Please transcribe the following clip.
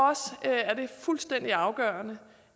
fuldstændig afgørende